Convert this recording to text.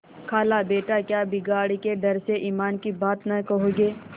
खालाबेटा क्या बिगाड़ के डर से ईमान की बात न कहोगे